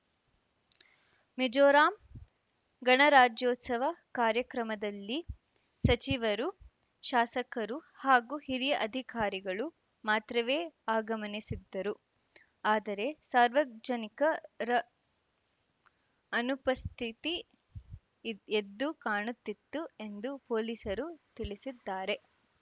ಮಿಜೋರಾಂ ಗಣರಾಜ್ಯೋತ್ಸವ ಕಾರ್ಯಕ್ರಮದಲ್ಲಿ ಸಚಿವರು ಶಾಸಕರು ಹಾಗೂ ಹಿರಿಯ ಅಧಿಕಾರಿಗಳು ಮಾತ್ರವೇ ಆಗಮನಿಸಿದ್ದರು ಆದರೆ ಸಾರ್ವಜನಿಕರ ಅನುಪಸ್ಥಿತಿ ಎ ಎದ್ದು ಕಾಣುತ್ತಿತ್ತು ಎಂದು ಪೊಲೀಸರು ತಿಳಿಸಿದ್ದಾರೆ